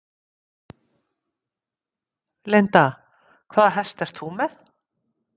Linda: Hvaða hest ert þú með?